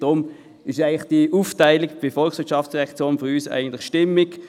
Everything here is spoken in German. Deshalb ist diese Zusammensetzung der heutigen VOL eigentlich stimmig.